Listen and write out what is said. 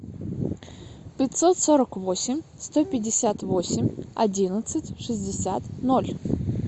пятьсот сорок восемь сто пятьдесят восемь одиннадцать шестьдесят ноль